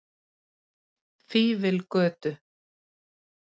Fífilgötu